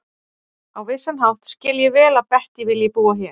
Á vissan hátt skil ég vel að Bettý vilji búa hér.